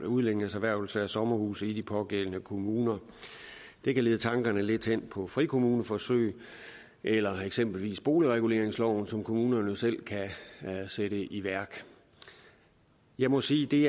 udlændinges erhvervelse af sommerhuse i de pågældende kommuner det kan lede tankerne lidt hen på frikommuneforsøg eller eksempelvis boligreguleringsloven som kommunerne jo selv kan sætte i værk jeg må sige at det